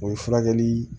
O ye furakɛli